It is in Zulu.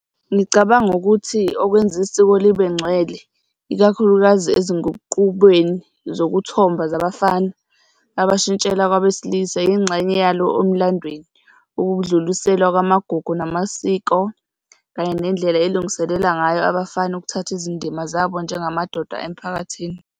Ngicabanga ukuthi okwenza isiko libengcwele, ikakhulukazi ezinguqukweni zokuthomba zabafana abashintshela kwabesilisa. Yingxenye yalo emlandweni, ukudluliselwa kwamagugu namasiko kanye nendlela elungiselela ngayo abafana ukuthatha izindima zabo njengamadoda emphakathini.